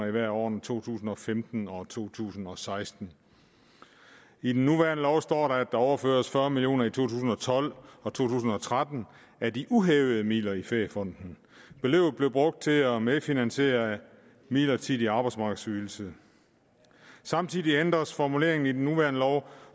i hvert af årene to tusind og femten og to tusind og seksten i den nuværende lov står der at der overføres fyrre million to tusind og tolv og to tusind og tretten af de uhævede midler i feriefonden beløbet blev brugt til at medfinansiere midlertidig arbejdsmarkedsydelse samtidig ændres formuleringen i den nuværende lov